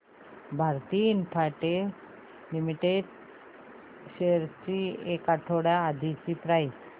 Bharti Infratel limited shares ची एक आठवड्या आधीची प्राइस